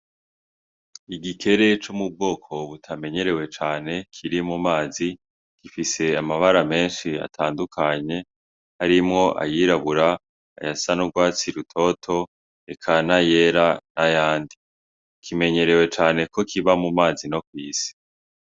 Igikere co m'ubwoko butamenyerewe cane Kiri mu mazi gifise amabara menshi atandukanye harimwo ayirabura ayasa n'urwatsi rutoto eka na yera n'ayandi, kimenyerewe cane kokiba mu mazi no kw'isi.